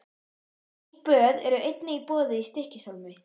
Slík böð eru einnig í boði í Stykkishólmi.